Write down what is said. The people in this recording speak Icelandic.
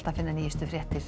finna nýjar fréttir